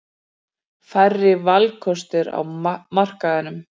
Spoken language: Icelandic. Færri valkostir á markaðnum.